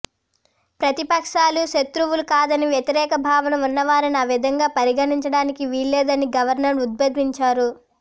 ప్రతిపక్షాలు శతృవులు కాదని వ్యతిరేక భావన ఉన్న వారిని ఆ విధంగా పరిగణించడానికి వీల్లేదని గవర్నర్ ఉద్భోదించారు